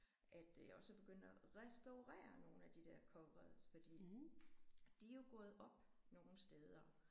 At øh også at begynde at restaurere nogle af de der covers fordi de er jo gået op nogle steder